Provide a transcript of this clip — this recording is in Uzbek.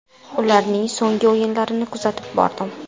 Ularning so‘nggi o‘yinlarini kuzatib bordim.